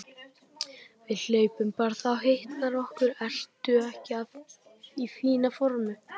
Við hlaupum bara, þá hitnar okkur. ertu ekki í fínu formi?